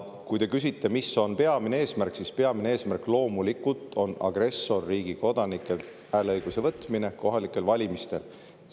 Kui te küsite, et mis on peamine eesmärk, siis peamine eesmärk loomulikult on agressorriigi kodanikelt hääleõiguse võtmine kohalikel valimistel.